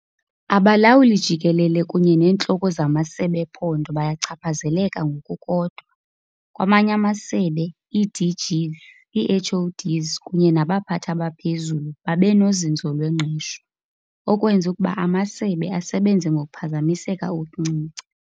Abalawuli-Jikelele kunye neentloko zamasebe ephondo bayachaphazeleka ngokukodwa. Kwamanye amasebe, ii-DGs, ii-HoDs kunye nabaphathi abaphezulu babe nozinzo lwengqesho, okwenza ukuba amasebe asebenze ngokuphazamiseka okuncinci.